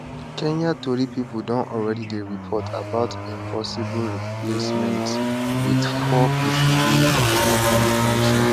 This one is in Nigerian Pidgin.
kenya tori pipo don already dey report about im possible replacements wit four pipo wey wey dem mention